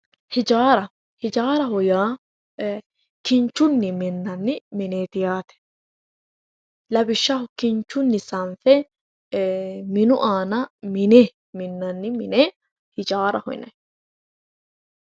Hijaara, hijaaraho yaa e"e kinchunni minanni mineti yaate, lawishshaho kinchunni sanfe e"e minu aana minnanni minanni mine hijaaraho yinnanni.